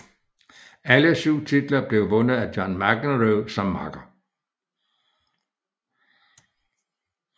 Alle syv titler blev vundet med John McEnroe som makker